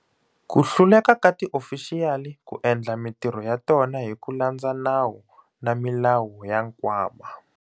Ku hluleka ka tiofixiyali ku endla mitirho ya tona hi ku landza nawu na milawu ya Nkwama.